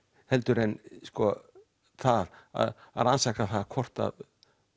heldur en að rannsaka það hvort að